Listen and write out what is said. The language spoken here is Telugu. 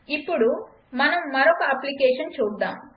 ఇప్పుడు మనం మరొక అప్లికేషన్ చూద్దాం